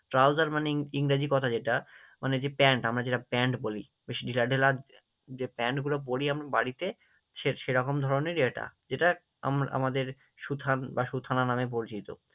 Trouser মানে ইংরাজী কথা যেটা মানে যে প্যান্ট, আমরা যেটা প্যান্ট বলি যে প্যান্টগুলো পরি আমরা বাড়িতে, সে সেরকম ধরণেরই এটা, যেটা আমরা আমাদের সুথান বা সুথানা নামে পরিচিত।